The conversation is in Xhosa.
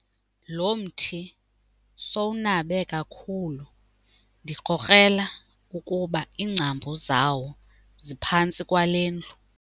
Lo mthi sowunabe kakhulu ndikrokrela ukuba iingcambu zawo zingaphantsi kwale ndlu.